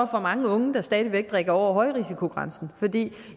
for mange unge der stadig væk drikker over højrisikogrænsen fordi